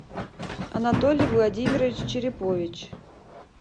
анатолий владимирович черепович